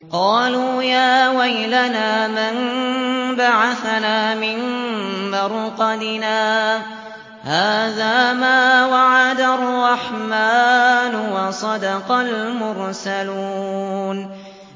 قَالُوا يَا وَيْلَنَا مَن بَعَثَنَا مِن مَّرْقَدِنَا ۜۗ هَٰذَا مَا وَعَدَ الرَّحْمَٰنُ وَصَدَقَ الْمُرْسَلُونَ